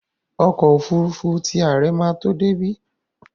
Ọkọ́ òfurufú ti àre máa tó débí.